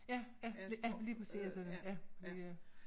Ja ja ja lige præcis fordi øh